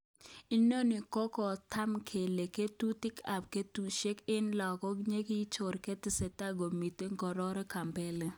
Inoni kokotog kele ngo'tutik ab kotunishet eng lagok kokiyoche kotestai komiten,"koaror Kambole.